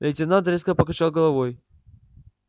лейтенант резко покачал головой